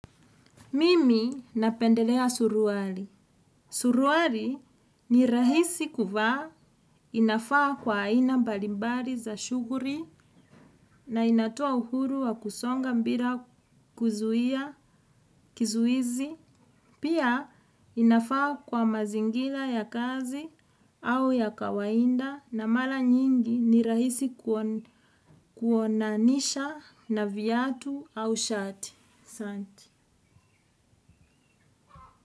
Mimi napendelea suruali. Suruali ni rahisi kuvaa inafaa kwa aina mbalimbari za shuguri na inatoa uhuru wa kusonga mbira kuzuia kizuizi. Pia inafaa kwa mazingira ya kazi au ya kawaida na mara mingi ni rahisi kuonanisha na viatu au shati asanati.